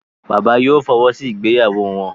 Bàbá yìí ò fọwọ́ sí ìgbéyàwó wọn.